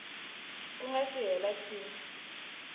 ku nga si hela tin